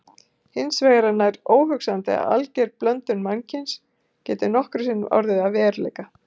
Hins vegar er nær óhugsandi að alger blöndun mannkyns geti nokkru sinni orðið að veruleika.